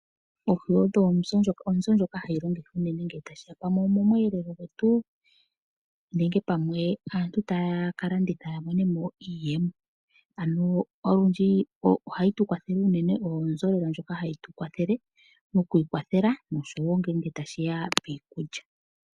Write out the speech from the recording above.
Oohi odho onzo ndjoka hayi longithwa unene ngele tashiya pamwe omomweelelo gwetu nenge pamwe aantu taya kalanditha yamonemo iiyemo, ano olundji ohayi tukwathele unene mokwiikwathela noshowo ngele tashiya piikulya.